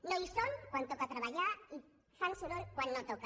no hi són quan toca treballar i fan soroll quan no toca